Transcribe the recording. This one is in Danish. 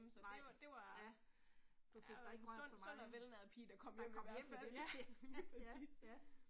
Nej, ja. Du fik dig ikke rørt så meget, der kom hjem igen, ja, ja, ja